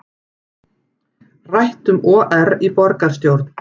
Rætt um OR í borgarstjórn